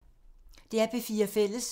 DR P4 Fælles